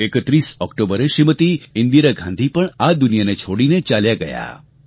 31 ઑક્ટોબરે શ્રીમતી ઈન્દિરા ગાંધી પણ આ દુનિયાને છોડીને ચાલ્યાં ગયાં